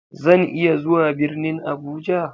Zan iya zuwa birnin Abuja?